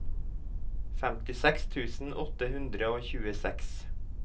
femtiseks tusen åtte hundre og tjueseks